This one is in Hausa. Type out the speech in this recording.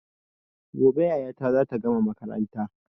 Gobe yayata zata gama makaranta